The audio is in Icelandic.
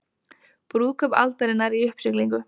Brúðkaup aldarinnar í uppsiglingu